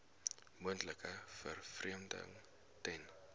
moontlike vervreemding ten